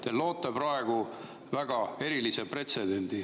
Te loote praegu väga erilise pretsedendi.